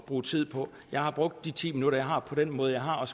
bruge tid på jeg har brugt de ti minutter jeg har på den måde jeg har og